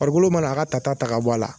farikolo mana a ka ta ta ta ka bɔ a la